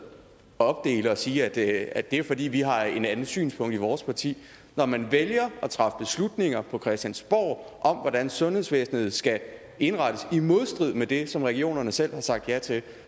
opdele og sige at det er fordi vi har et andet synspunkt i vores parti når man vælger at træffe beslutninger på christiansborg om hvordan sundhedsvæsenet skal indrettes i modstrid med det som regionerne selv har sagt ja til